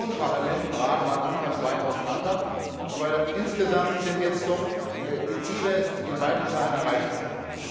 Kommission, Parlament und Rat waren anfangs weit auseinander, aber insgesamt sind jetzt doch die Ziele in weiten Teilen erreicht worden.